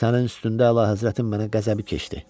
Sənin üstündə əlahəzrətin mənə qəzəbi keçdi.